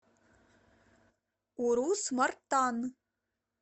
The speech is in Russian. урус мартан